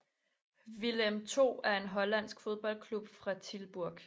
Willem II er en hollandsk fodboldklub fra Tilburg